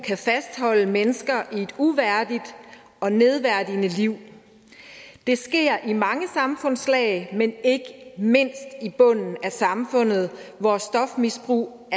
kan fastholde mennesker i et uværdigt og nedværdigende liv det sker i mange samfundslag men ikke mindst i bunden af samfundet hvor stofmisbrug